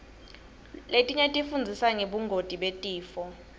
letinye tifundzisa ngebungoti betifo